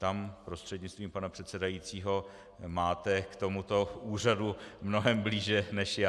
Tam, prostřednictvím pana předsedajícího, máte k tomuto úřadu mnohem blíže než já.